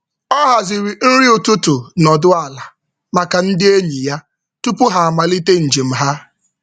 Ọ haziri nri ụtụtụ nọdụ ala maka ndị enyi ya tupu ha amalite njem ha.